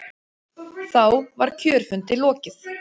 Þá var kjörfundi lokið.